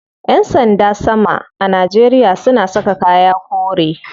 Yan sanda sama a Najeria suna saka kaya kore.